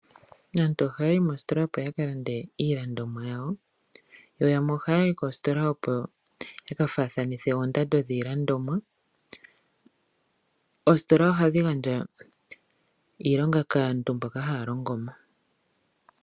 Aantu ohaya yi moositola opo ya kalande iilandomwa yawo yo yamwe ohaya yi kositola opo yaka faathanithe oondando dhiilandomwa. Oositola ohadhi gandja iilonga kaantu mboka haya longo mo.